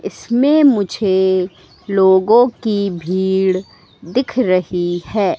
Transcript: इसमें मुझे लोगों की भीड़ दिख रही है।